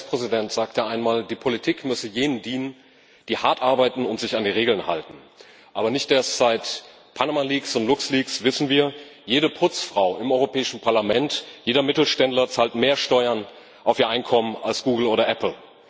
Ein US Präsident sagte einmal, die Politik müsse jenen dienen, die hart arbeiten und sich an die Regeln halten. Aber nicht erst seit Panama Leaks und Lux Leaks wissen wir Jede Putzfrau im Europäischen Parlament und jeder Mittelständler zahlen mehr Steuern auf ihr Einkommen als Google oder Apple.